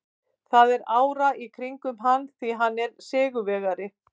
Það er ára í kringum hann því hann er sigurvegari.